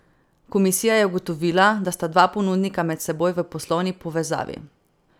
Komisija je ugotovila, da sta dva ponudnika med seboj v poslovni povezavi.